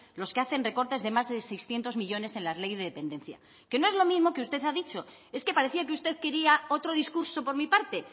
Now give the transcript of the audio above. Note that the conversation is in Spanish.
los que hacen recortes de más de seiscientos millónes en la ley de dependencia que no es lo mismo que usted ha dicho es que parecía que usted quería otro discurso por mi parte